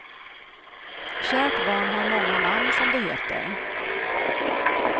Kärt barn har många namn, som det heter.